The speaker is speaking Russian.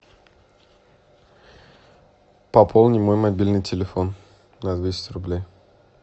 пополни мой мобильный телефон на двести рублей